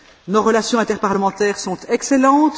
Nos relations interparlementaires sont excellentes.